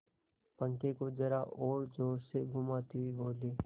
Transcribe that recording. पंखे को जरा और जोर से घुमाती हुई बोली